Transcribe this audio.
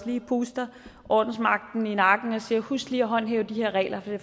lige puster ordensmagten i nakken og siger husk lige at håndhæve de her regler for det